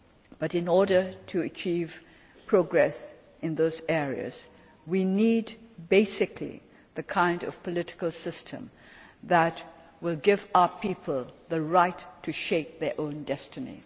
assured. But in order to achieve progress in those areas, we need basically the kind of political system that will give our people the right to shape their own